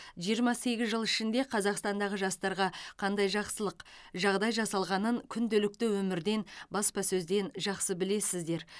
жиырма сегіз жыл ішінде қазақстандағы жастарға қандай жақсылық жағдай жасалғанын күнделікті өмірден баспасөзден жақсы білесіздер